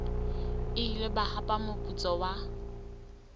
ile ba hapa moputso wa